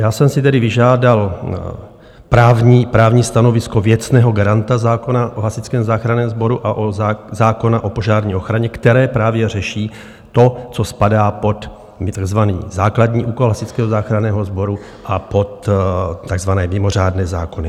Já jsem si tedy vyžádal právní stanovisko věcného garanta zákona o Hasičském záchranném sboru a zákona o požární ochraně, které právě řeší to, co spadá pod takzvaný základní úkol Hasičského záchranného sboru a pod takzvané mimořádné zákony.